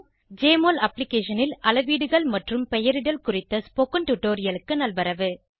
JMOL அப்ளிகேஷனில் அளவீடுகள் மற்றும் பெயரிடல் குறித்த ஸ்போகன் டுடோரியலுக்கு நல்வரவு